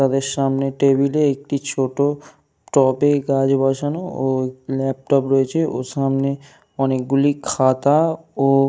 তাদের সামনে টেবিল - এ একটি ছোট টবে গাছ বসানো ও ল্যাপটপ রয়েছে। ও সামনে অনেক গুলি খাতা ও --